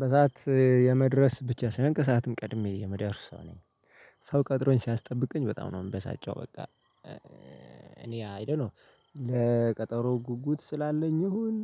በሰአት የመድረስ ብቻ ሳይሆን ከሰአትም ቀድሜ የምደርስ ሰው ነኝ። ሰው ቀጥሮኝ ሲያስጠብቀኝ በጣም ነው የምበሳጨው በቃ። እኔ አይ ዶኖ ለቀጠሮ ጉጉት ስላለኝ ይሁን